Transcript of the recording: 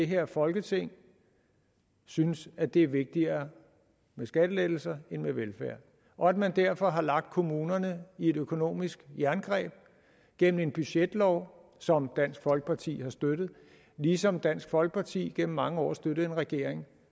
her folketing synes at det er vigtigere med skattelettelser end med velfærd og at man derfor har lagt kommunerne i et økonomisk jerngreb gennem en budgetlov som dansk folkeparti har støttet ligesom dansk folkeparti igennem mange år støttede en regering